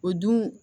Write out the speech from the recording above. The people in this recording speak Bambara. O dun